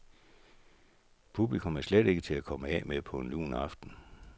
Publikum er slet ikke til at komme af med på en lun aften.